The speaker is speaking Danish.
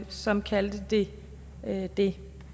som kaldte det det